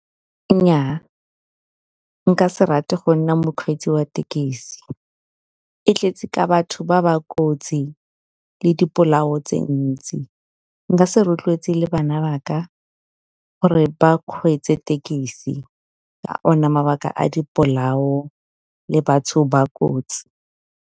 Nyaa, nka se rate go nna mokgweetsi wa thekisi. E tletse ka batho ba ba kotsi le dipolao tse dintsi, nka se rotloetse le bana ba ka gore ba kgweetse tekisi ka ona mabaka a dipolao le batho ba kotsi.